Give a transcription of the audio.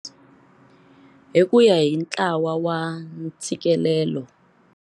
Hi ku ya hi Ntlawa wa Ntshikelelo.